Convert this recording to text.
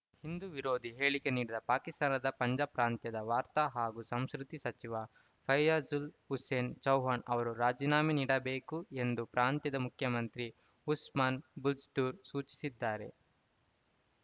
ಹಿಂದೂ ವಿರೋಧಿ ಹೇಳಿಕೆ ನೀಡಿದ ಪಾಕಿಸ್ತಾನದ ಪಂಜಾಬ್‌ ಪ್ರಾಂತ್ಯದ ವಾರ್ತಾ ಹಾಗೂ ಸಂಸ್ಕೃತಿ ಸಚಿವ ಫಯ್ಯಾಜುಲ್‌ ಹುಸೇನ್‌ ಚೌಹಾಣ್‌ ಅವರು ರಾಜೀನಾಮೆ ನೀಡಬೇಕು ಎಂದು ಪ್ರಾಂತ್ಯದ ಮುಖ್ಯಮಂತ್ರಿ ಉಸ್ಮಾನ್‌ ಬುಜ್ದ್ದೂರ್ ಸೂಚಿಸಿದ್ದಾರೆ